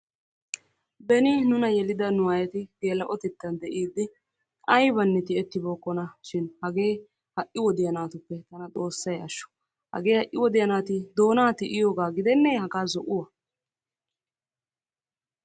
Beni nuuna yelidda nu aayyeti gelaa''otettan de'ide aybba tiyyetibookkonashin hagee ha'i wodiyaa naatuppe tana Xoossay ashsho! hage ha'i wodiyaa naati doona tiyyiyooga gidenne haga zo'uwaa?